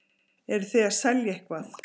Eruð þið að selja eitthvað?